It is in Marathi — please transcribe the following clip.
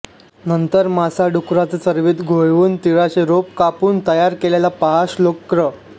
नंतर मासा डुकराचे चरबीत घोळवून तिळाचे रोप कापून तयार केलेल्या पहा श्लोक क्र